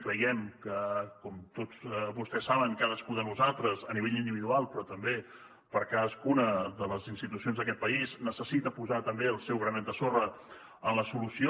creiem que com tots vostès saben cadascú de nosaltres a nivell individual però també per cadascuna de les institucions d’aquest país necessita posar també el seu granet de sorra en la solució